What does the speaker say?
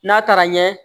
N'a taara ɲɛ